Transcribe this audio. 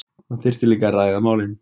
Það þyrfti líka að ræða málin